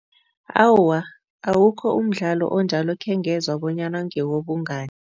Awa, awukho umdlalo onjalo ekhengezwa bonyana ngewobungani.